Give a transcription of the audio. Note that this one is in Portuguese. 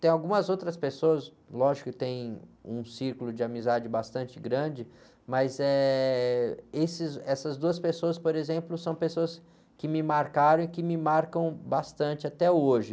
Tem algumas outras pessoas, lógico que tem um círculo de amizade bastante grande, mas, eh, esses, essas duas pessoas, por exemplo, são pessoas que me marcaram e que me marcam bastante até hoje.